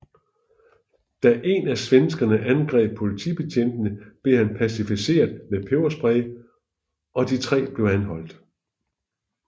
Da en af svenskerne angreb politibetjentene blev han pacificeret med peberspray og de tre blev anholdt